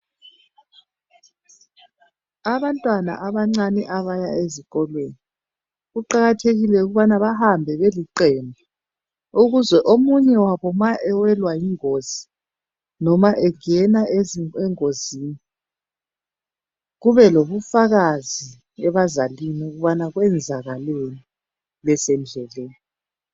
Abantwana abancane abaya ezikolweni. Kuqakathekile ukubana bahambe beliqembu ukuze omunye wabo ma ewelwa yingozi noma engeni engozini kube lobufakazi ebazalini ukubana kwenzakaleni besendleleni.